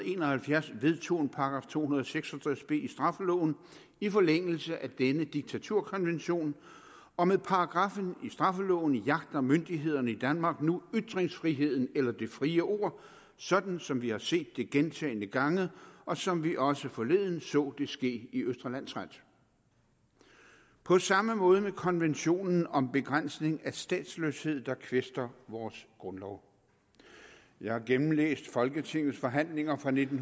en og halvfjerds vedtog § to hundrede og seks og tres b i straffeloven i forlængelse af denne diktaturkonvention og med paragraffen i straffeloven jagter myndighederne i danmark nu ytringsfriheden eller det frie ord sådan som vi har set det gentagne gange og som vi også forleden så det ske i østre landsret på samme måde med konventionen om begrænsning af statsløshed der kvæster vores grundlov jeg har gennemlæst folketingets forhandlinger fra nitten